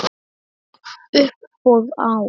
Uppboð á